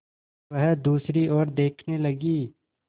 वह दूसरी ओर देखने लगी